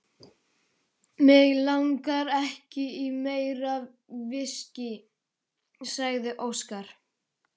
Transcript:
Mig langar ekki í meira viskí, sagði Óskar.